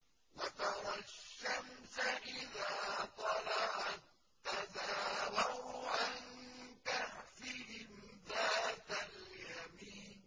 ۞ وَتَرَى الشَّمْسَ إِذَا طَلَعَت تَّزَاوَرُ عَن كَهْفِهِمْ ذَاتَ الْيَمِينِ